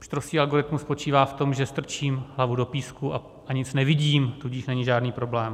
Pštrosí algoritmus spočívá v tom, že strčím hlavu do písku a nic nevidím, tudíž není žádný problém.